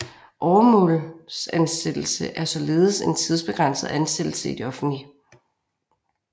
Åremålsansættelse er således en tidsbegrænset ansættelse i det offentlige